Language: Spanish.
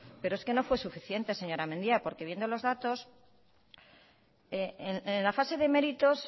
pero es que no fue suficiente señora mendia porque viendo los datos en la fase de méritos